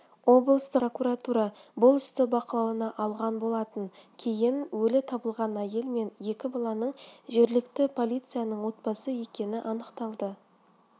облыстық прокуратура бұл істі бақылауына алған болатын кейін өлі табылған әйел мен екі баланың жергілікті полицияның отбасы екені анықталды